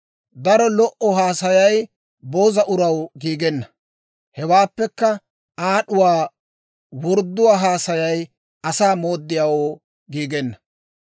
Daro lo"o haasayay booza uraw giigenna; hewaappekka aad'uwaa wordduwaa haasayay asaa mooddiyaawoo giigenna.